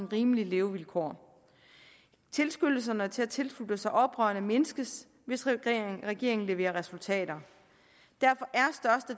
rimelige levevilkår tilskyndelserne til at tilslutte sig oprørerne mindskes hvis regeringen regeringen leverer resultater derfor